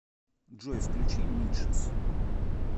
джой включи нидшес